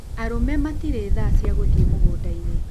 Arũme matirĩ thaa cia gũthiĩ mũgũnda-inĩ